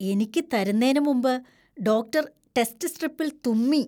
എനിക്ക് തരുന്നേനു മുമ്പ് ഡോക്ടർ ടെസ്റ്റ് സ്ട്രിപ്പിൽ തുമ്മി.